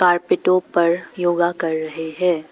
पर योगा कर रहे हैं।